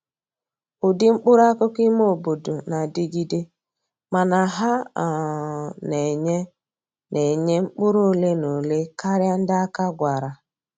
Ụdị mkpụrụ akụkụ ime obodo na-adịgide, mana ha um na-enye na-enye mkpụrụ ole na ole karịa ndị aka gwara